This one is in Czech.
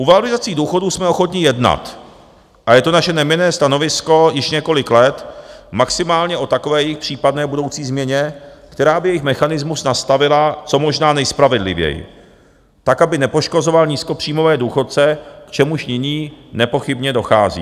U valorizací důchodů jsme ochotni jednat a je to naše neměnné stanovisko již několik let, maximálně o takové jejich případné budoucí změně, která by jejich mechanismus nastavila co možná nejspravedlivěji, tak, aby nepoškozoval nízkopříjmové důchodce, k čemuž nyní nepochybně dochází.